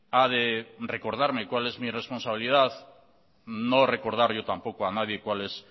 ha de recordarme cuál es mi responsabilidad no recordar yo tampoco a nadie cuál es